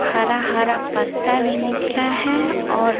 हरा हरा पत्ता भी निकला है और--